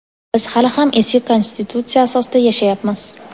biz hali ham eski Konstitutsiya asosida yashayapmiz.